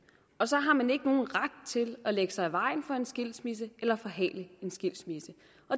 og så har man ikke nogen ret til at lægge sig i vejen for en skilsmisse eller forhale en skilsmisse